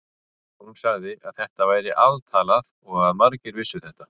Hún sagði að þetta væri altalað og að margir vissu þetta.